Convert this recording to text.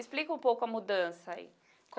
Explica um pouco a mudança aí.